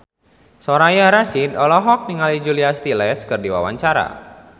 Soraya Rasyid olohok ningali Julia Stiles keur diwawancara